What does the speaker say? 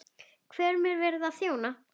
Hverjum er verið að þjóna?